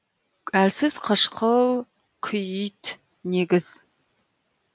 әлсіз қышқыл күіит негіз